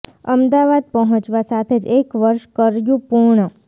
અમદાવાદ પહોંચવા સાથે જ એક વર્ષ કર્યું પૂર્ણ